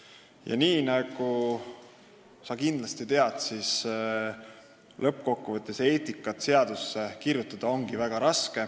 Ja nagu sa kindlasti tead, eetikat ongi lõppkokkuvõttes väga raske seadusse kirjutada.